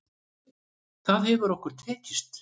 Það hefur okkur tekist.